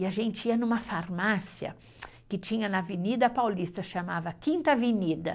E a gente ia numa farmácia que tinha na Avenida Paulista, chamava Quinta Avenida.